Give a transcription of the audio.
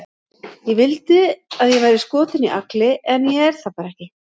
Ég vildi að ég væri skotin í Agli, en ég er það bara ekki.